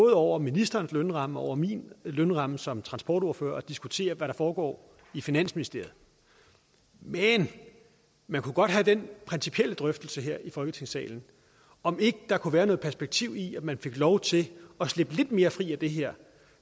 er over ministerens lønramme og over min lønramme som transportordfører at diskutere hvad der foregår i finansministeriet men man kunne godt have den principielle drøftelse her i folketingssalen om ikke der kunne være perspektiv i at man fik lov til at slippe lidt mere fri af det her